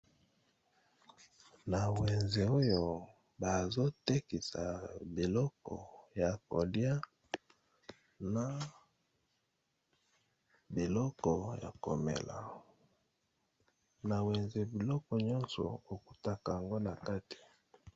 Na wenze oyo bazotekisa biloko ya kolia na biloko ya komela, na wenze biloko nyonso okutaka yango na kati.